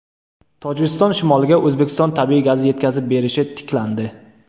Tojikiston shimoliga O‘zbekiston tabiiy gazi yetkazib berilishi tiklandi.